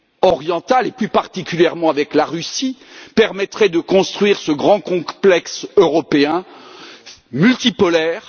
orientale, et plus particulièrement la Russie, et permettrait de construire ce grand complexe européen multipolaire.